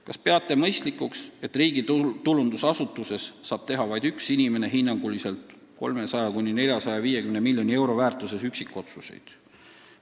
Kas peate mõistlikuks, et riigitulundusasutuses saab teha vaid üks inimene hinnanguliselt 300–450 miljoni euro väärtuses üksikotsuseid?